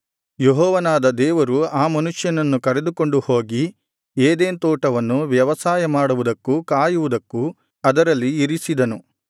ಯೆಹೋವನಾದ ದೇವರು ಆ ಮನುಷ್ಯನನ್ನು ಕರೆದುಕೊಂಡು ಹೋಗಿ ಏದೆನ್ ತೋಟವನ್ನು ವ್ಯವಸಾಯ ಮಾಡುವುದಕ್ಕೂ ಕಾಯುವುದಕ್ಕೂ ಅದರಲ್ಲಿ ಇರಿಸಿದನು